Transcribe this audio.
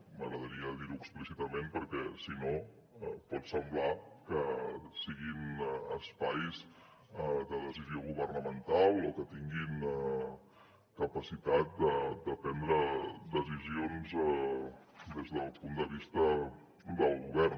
m’agradaria dir ho explícitament perquè si no pot semblar que siguin espais de decisió governamental o que tinguin capacitat de prendre decisions des del punt de vista del govern